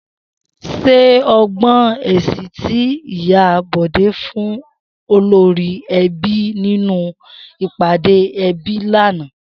S̩é o gbó̩ èsì tí Ìyá Bò̩dé fún olórí e̩bí nínú ìp̩àdé e̩bí lánàá?